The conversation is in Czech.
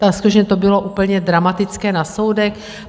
Tam skutečně to bylo úplně dramatické na soudech.